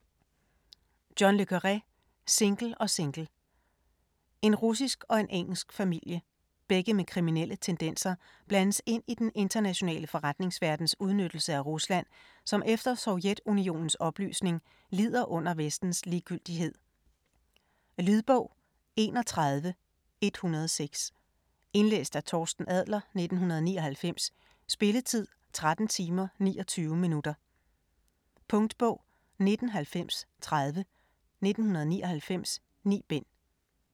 Le Carré, John: Single & Single En russisk og en engelsk familie - begge med kriminelle tendenser - blandes ind i den internationale forretningsverdens udnyttelse af Rusland, som efter Sovjetunionens opløsning lider under Vestens ligegyldighed. Lydbog 31106 Indlæst af Torsten Adler, 1999. Spilletid: 13 timer, 29 minutter. Punktbog 199030 1999. 9 bind.